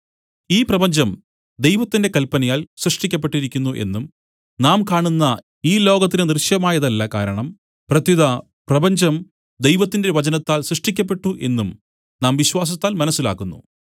ഈ പ്രപഞ്ചം ദൈവത്തിന്റെ കൽപ്പനയാൽ സൃഷ്ടിക്കപ്പെട്ടിരിക്കുന്നു എന്നും നാം കാണുന്ന ഈ ലോകത്തിനു ദൃശ്യമായതല്ല കാരണം പ്രത്യുത പ്രപഞ്ചം ദൈവത്തിന്റെ വചനത്താൽ സൃഷ്ടിക്കപ്പെട്ടു എന്നും നാം വിശ്വാസത്താൽ മനസ്സിലാക്കുന്നു